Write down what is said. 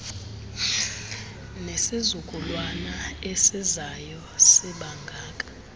nesizukulwana esizayo sibangaka